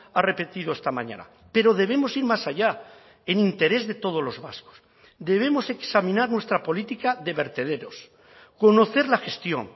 ha repetido esta mañana pero debemos ir más allá en interés de todos los vascos debemos examinar nuestra política de vertederos conocer la gestión